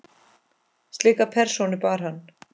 Slíka persónu bar hann.